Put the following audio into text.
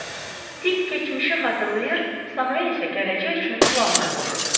Dik keçmişi xatırlayır, Samuel isə gələcək üçün planlar qururdu.